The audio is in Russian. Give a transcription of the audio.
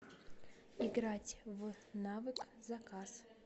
играть в навык заказ